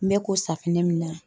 N bɛ ko safunɛ min na